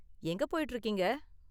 எங்கே போயிட்டு இருக்கீங்க?